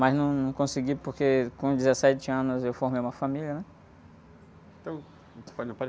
Mas não, não consegui, porque com dezessete anos eu formei uma família, né?